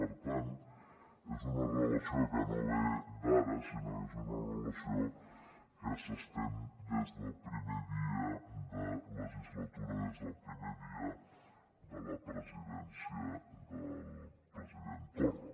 per tant és una relació que no ve d’ara sinó que és una relació que s’estén des del primer dia de legislatura des del primer dia de la presidència del president torra